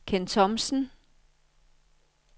Kenn Thomsen